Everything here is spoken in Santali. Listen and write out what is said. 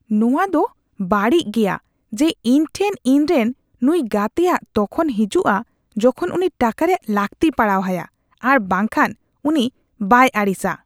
ᱱᱚᱶᱟ ᱫᱚ ᱵᱟᱹᱲᱤᱤ ᱜᱮᱭᱟ ᱡᱮ ᱤᱧ ᱴᱷᱮᱱ ᱤᱧᱨᱮᱱ ᱱᱩᱭ ᱜᱟᱛᱮᱭᱟᱜ ᱛᱚᱠᱷᱚᱱ ᱦᱤᱡᱩᱜᱼᱟ ᱡᱚᱠᱷᱚᱱ ᱩᱱᱤ ᱴᱟᱠᱟ ᱨᱮᱭᱟᱜ ᱞᱟᱹᱠᱛᱤ ᱯᱟᱲᱟᱣ ᱟᱭᱟ ᱟᱨ ᱵᱟᱝᱠᱷᱟᱱ ᱩᱱᱤ ᱵᱟᱭ ᱵᱟᱭ ᱟᱹᱲᱤᱥᱟ ᱾